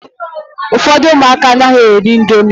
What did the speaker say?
Ụfọdụ ụmụaka anaghịkwa eri indomi